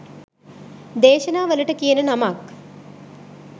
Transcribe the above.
දේශනා වලට කියන නමක්.